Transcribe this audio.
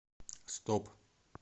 стоп